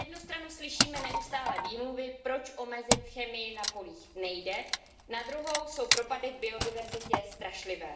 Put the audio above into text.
Na jednu stranu slyšíme neustálé výmluvy, proč omezit chemii na polích nejde, na druhou jsou propady v biodiverzitě strašlivé.